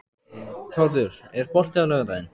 Þórður, er bolti á laugardaginn?